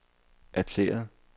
erklæret